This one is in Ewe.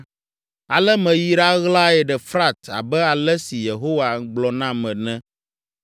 Ale meyi ɖaɣlae ɖe Frat abe ale si Yehowa gblɔ nam ene.